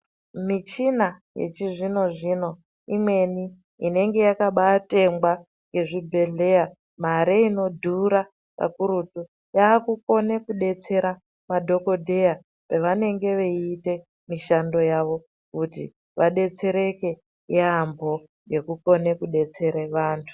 Michina yechizvino-zvino imweni inenge yakabatengwa nezvibhedhleya mare inodhura kakurutu. Yakukone kubetsera madhogodheya pavanenge veiite mishando yavo. Kuti vabetsereke yaambo ngekukone kubetsere vantu.